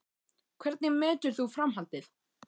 Hvernig metur þú framhaldið?